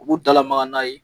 U b'u dalamaga n'a ye